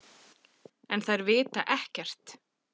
En þær vita ekkert.